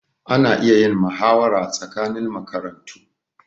Ana iya yin mahawara tsakanin makarantu.